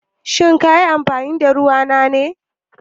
Shin ka yi amfani da ruwa na ne?